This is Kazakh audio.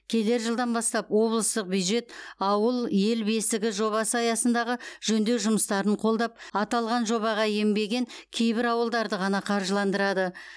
келер жылдан бастап облыстық бюджет ауыл ел бесігі жобасы аясындағы жөндеу жұмыстарын қолдап аталған жобаға енбеген кейбір ауылдарды ғана қаржыландырады